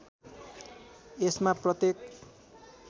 यसमा प्रत्येक